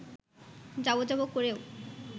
যাব যাব করেও